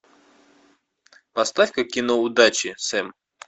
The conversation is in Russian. поставь ка кино удачи сэм